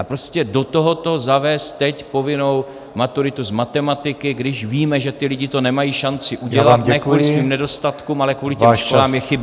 A prostě do tohoto zavést teď povinnou maturitu z matematiky, když víme, že ti lidé to nemají šanci udělat ne kvůli svým nedostatkům, ale kvůli těm školám, je chyba.